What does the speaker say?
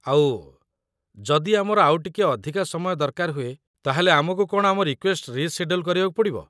ଆଉ, ଯଦି ଆମର ଆଉ ଟିକେ ଅଧିକ ସମୟ ଦରକାର ହୁଏ, ତା'ହେଲେ ଆମକୁ କ'ଣ ଆମ ରିକ୍ୱେଷ୍ଟ ରିଶେଡ୍ୟୁଲ୍ କରିବାକୁ ପଡ଼ିବ?